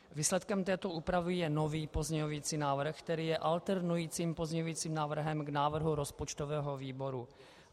Výsledkem této úpravy je nový pozměňovací návrh, který je alternujícím pozměňovacím návrhem k návrhu rozpočtového výboru.